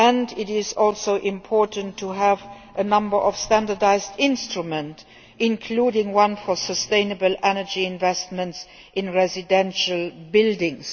It is also important to have a number of standardised instruments, including one for sustainable energy investment in residential buildings.